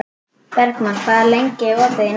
Bergmann, hvað er lengi opið í Nettó?